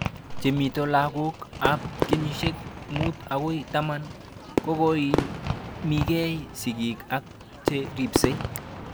chemito lakok ab kenyishek mut akoi taman kokoimikei sig'ik ak che ripsei